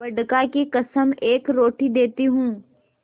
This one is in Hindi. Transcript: बड़का की कसम एक रोटी देती हूँ